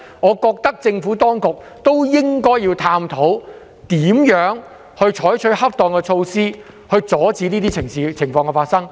我認為政府當局應該探討如何採取恰當措施，以防止這些事情再次發生。